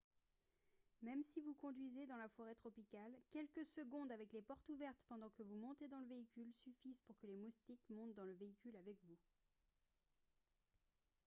même si vous conduisez dans la forêt tropicale quelques secondes avec les portes ouvertes pendant que vous montez dans le véhicule suffisent pour que les moustiques montent dans le véhicule avec vous